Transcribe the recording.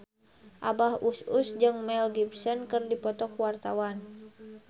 Abah Us Us jeung Mel Gibson keur dipoto ku wartawan